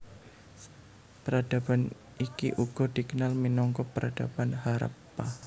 Peradaban iki uga dikenal minangka Peradaban Harappa